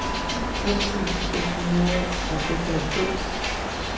tres tusind seks hundrede og seksoghalvfems